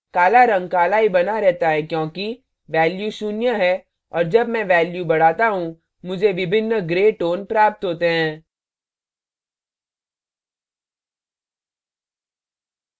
काला रंग काला ही बना रहता है क्योंकि value शून्य है और जब मैं value value बढ़ाता हूँ मुझे विभिन्न gray tones प्राप्त होते हैं